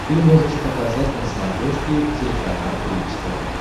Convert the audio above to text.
ты можешь показать на смотрешке телеканал бридж тв